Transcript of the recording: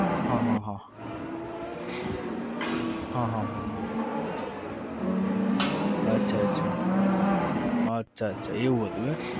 હા હા હા હા હા હા હા અચ્છા અચ્છા અચ્છા અચ્છા એવું હતું એમ?